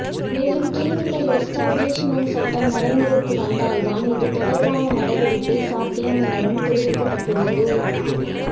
மேலும் clinical establishment சட்டம் நடைமுறைக்கு வந்தால் தான் இது தொடர்பான நடவடிக்கை சாத்தியம் எனவும் தெரிவிக்கப்பட்டுள்ளது